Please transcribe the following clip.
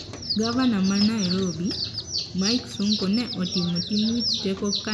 Gavana ma Nairobi, Mike Sonko ne otimo tim wich teko ka ne otemo ringo mondo odong thuolo go kinyi chieng tich abich.